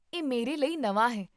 ਇਹ ਮੇਰੇ ਲਈ ਨਵਾਂ ਹੈ